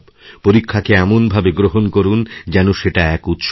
পরীক্ষাকেএমনভাবে গ্রহণ করুন যেন সেটা এক উৎসব